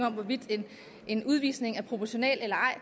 om hvorvidt en udvisning er proportional eller ej